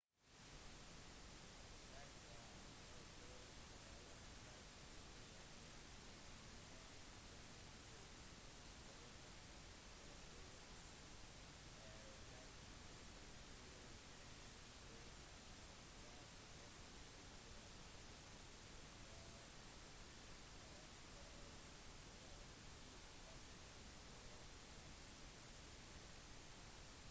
selv om forståelse av en persons historie ikke nødvendigvis innebærer forståelse av personens kultur så kan det i hvert fall bidra til at mennesker får en følelse av hvor de faller innenfor organisasjonens historie